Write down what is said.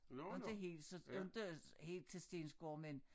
Inte helt så inte helt til Stensgård men